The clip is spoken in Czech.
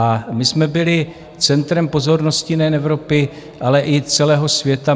A my jsme byli centrem pozornosti nejen Evropy, ale i celého světa.